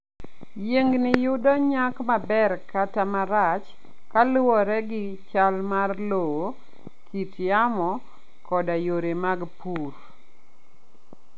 Yiengini yudo nyak maber kata marach kaluwore gi chal mar lowo, kit yamo, koda yore mag pur.